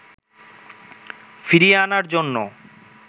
ফিরিয়ে আনার জন্য